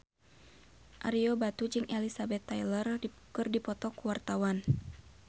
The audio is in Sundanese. Ario Batu jeung Elizabeth Taylor keur dipoto ku wartawan